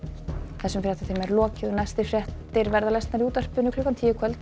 þessum fréttatíma er lokið næstu fréttir verða í útvarpi klukkan tíu í kvöld